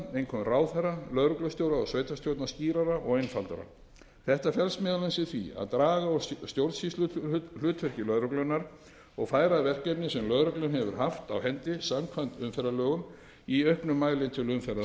einkum ráðherra lögreglustjóra og sveitarstjórna skýrari og einfaldari þetta felst meðal annars í því að draga úr stjórnsýsluhlutverki lögreglunnar og færa verkefni sem lögregla hefur haft á hendi samkvæmt umferðarlögum í auknum mæli til